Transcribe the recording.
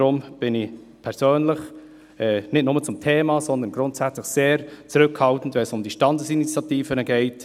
Deshalb bin ich persönlich, nicht nur bei diesem Thema, sondern grundsätzlich, sehr zurückhaltend, wenn es um die Standesinitiativen geht.